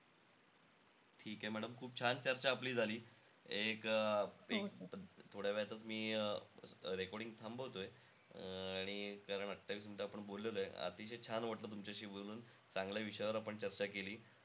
ठीके madam खूप छान चर्चा आपली झाली. एक अं एक थोड्यावेळातचं मी अं recording थांबवतोय. आणि अं कारण अठ्ठावीस minute आपण बोललेलोय. अतिशय छान वाटलं तुमच्याशी बोलून. चांगल्या विषयावर आपण चर्चा केली.